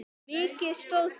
Mikið stóð til.